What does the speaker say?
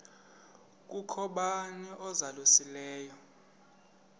kukho bani uzalusileyo